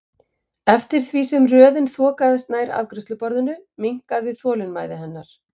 Eftir því sem röðin þokaðist nær afgreiðsluborðinu minnkaði þolinmæði hennar.